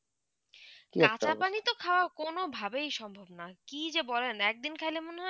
ঢাকার পানি তো খাওয়া কোনোভাবেই সম্ভব না কি যে বলেন একদিন খাইলে মনে হয়